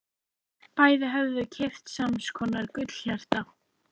Bæði höfðu þau keypt sams konar gullhjarta.